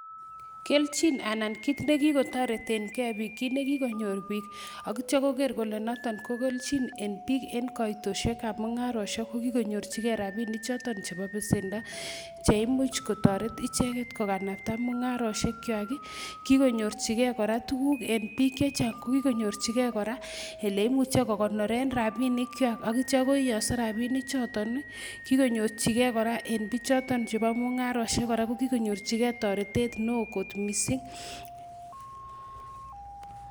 Kelchin anan kiit ne kikotoretenkei piik kiit ne kikonyor piik ak ityo koker kole noton ko kelchin en piik en kaitosiekab mungarosiek ko kikonyorchikei rabiini choto chebo besendo, cheimuch kotoret icheket kokanapta mungarosiechwak ii, kikonyorchikei kora tukuk en piik che chang ko kikonyorchiokei kora ele imuche kokonoren rabiinichwak ak ityon koiyongso rabiinichoton ii, kikonyorchike kora en bichoton chebo mungarosiek kora ko kikonyorchikei toretet ne oo kot mising.